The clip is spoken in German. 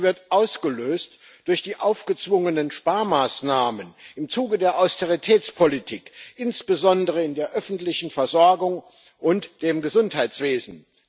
Sie wird ausgelöst durch die aufgezwungenen Sparmaßnahmen im Zuge der Austeritätspolitik, insbesondere in der öffentlichen Versorgung und dem Gesundheitswesen.